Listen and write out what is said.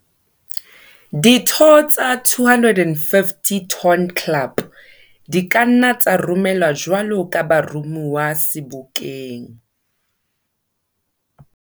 Ditho tsa 250 Ton Club di ka nna tsa romelwa jwalo ka baromuwa Sebokeng.